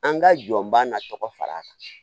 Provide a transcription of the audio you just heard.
An ka jɔnbaa na tɔgɔ fara kan